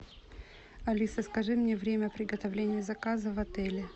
алиса скажи мне время приготовления заказа в отеле